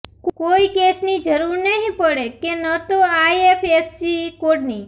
કોઈ કેશની જરૂર નહિ પડે કે ન તો આઈએફએસસી કોડની